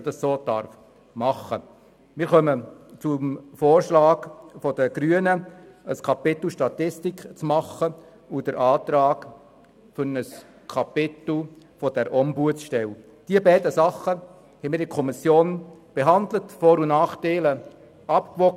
Die beiden Vorschläge der Grünen zu zwei neuen Kapiteln «Statistik» und «Ombudsstelle» haben wir in der Kommission behandelt und die Vor- und Nachteile abgewogen.